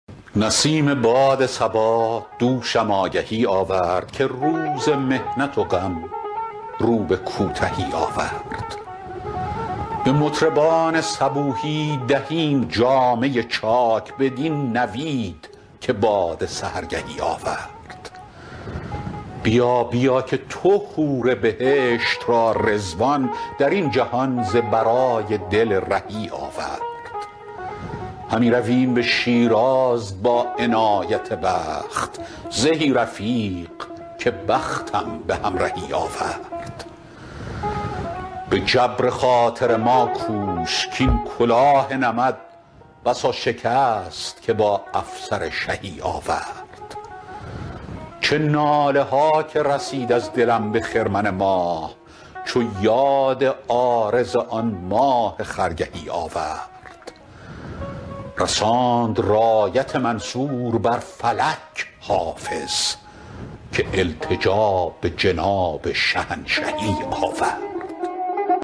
برید باد صبا دوشم آگهی آورد که روز محنت و غم رو به کوتهی آورد به مطربان صبوحی دهیم جامه چاک بدین نوید که باد سحرگهی آورد بیا بیا که تو حور بهشت را رضوان در این جهان ز برای دل رهی آورد همی رویم به شیراز با عنایت دوست زهی رفیق که بختم به همرهی آورد به جبر خاطر ما کوش کـ این کلاه نمد بسا شکست که با افسر شهی آورد چه ناله ها که رسید از دلم به خرمن ماه چو یاد عارض آن ماه خرگهی آورد رساند رایت منصور بر فلک حافظ که التجا به جناب شهنشهی آورد